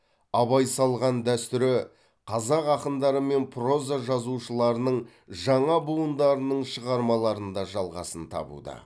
абай салған дәстүрі қазақ ақындары мен проза жазушыларының жаңа буындарының шығармаларында жалғасын табуда